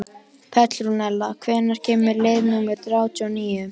Petrúnella, hvenær kemur leið númer þrjátíu og níu?